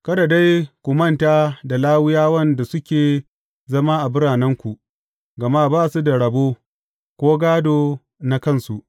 Kada dai ku manta da Lawiyawan da suke zama a biranenku, gama ba su da rabo, ko gādo na kansu.